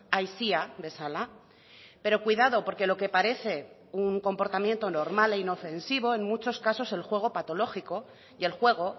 aisia bezala pero cuidado porque lo que parece un comportamiento normal e inofensivo en muchos casos el juego patológico y el juego